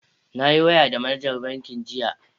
Na yi waya da manajar bankin jiya.